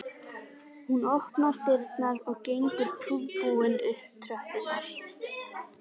Hún opnar dyrnar og gengur prúðbúin upp tröppurnar